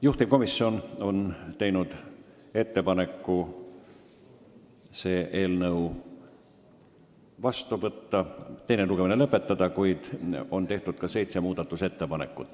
Juhtivkomisjon on teinud ettepaneku teine lugemine lõpetada, kuid on tehtud ka seitse muudatusettepanekut.